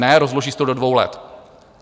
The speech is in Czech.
Ne, rozloží se to do dvou let.